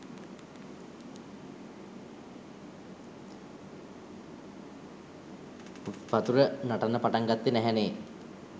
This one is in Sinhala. වතුර නටන්න පටන් ගත්තෙ නැහැ නේ.